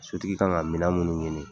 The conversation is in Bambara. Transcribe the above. Sotigi ka kan ka minɛn munnu ɲini